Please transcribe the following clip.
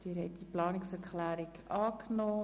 Sie haben diese Planungserklärung angenommen.